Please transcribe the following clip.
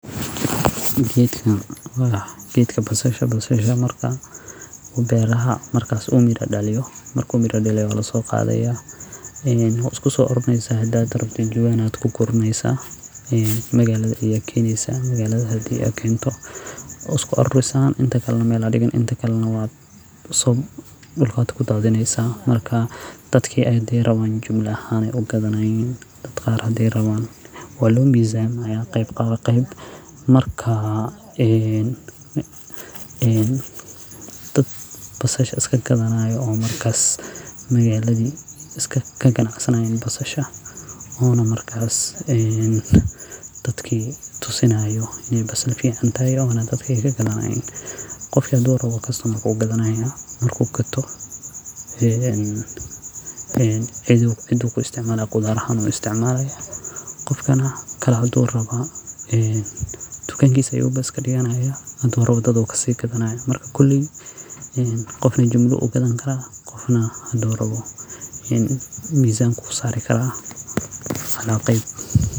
Gedkan wa gedka Basasha marka beeraha markas u mira daliyo marku mira daliyo wa losoqadaya wa iskusoarurineysa hada rabtid jawan kugu reysa e magalada aya keeneysa magalada hadi ad kento wa iskuarurineysa inta kalan mel ad digineysa duulkad kudadineysa dadka hadi ay raban jumla ahan ugadanayin dad qar hadi ay raban wa lo mizaamaya qeyb marka en dad basasha iskagadanaya o markas magaladi kaganacsanaya ona markas dadki tusinayo inay basal fican tahay dadka wey gadanayan qof hadu rabo customer ku marku gato een cedu ku isticmalaya khudar ahan u isticmalaya qofkana hadu rabo dunakisa ayu bas iskadiganaya hadu rabo dad ayu kasi gadanaya marka kuley qofna jumla u u gadan kara qofna qofna hadu rabo mizanka u usari kara cala qeyb.